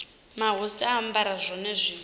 mahosi a ambara zwone zwi